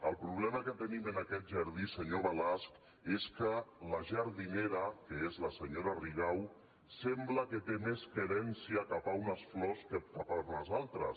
el problema que tenim en aquest jardí senyor balasch és que la jardinera que és la senyora rigau sembla que té més querència cap a unes flors que cap a unes altres